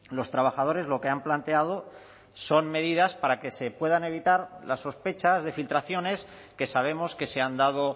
los trabajadores lo que han planteado son medidas para que se puedan evitar las sospechas de filtraciones que sabemos que se han dado